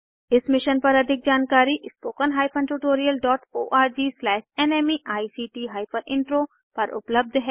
इस मिशन पर अधिक जानकारी spoken hyphen tutorial dot O R G slash NMEICT hyphen intro पर उपलब्ध है